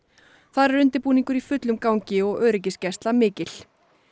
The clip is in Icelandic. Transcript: þar er undirbúningur í fullum gangi og öryggisgæsla mikil